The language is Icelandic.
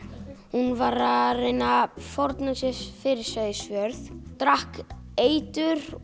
hún var að reyna að fórna sér fyrir Seyðisfjörð drakk eitur